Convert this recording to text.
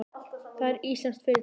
Það er íslenskt fyrirtæki.